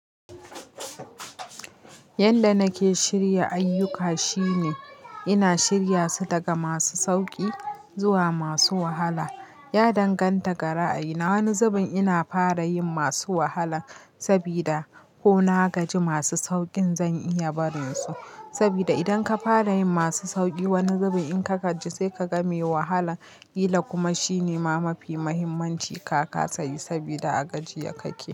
Yanda nake shirya ayuka shine ina shirya su daga masu sauki zuwa masu wahala. Ya danganta gara a ina wani zubin ina fara yin masu wahala sabida ko na gaji masu saukin zan iya barin su. Sabida idan ka fara yin masu sauki wani zubin in ka gaji sai ka game wahala. Ila kuma shine ma mafi muhimmanci ka kasa yi sabida a gajiya kake.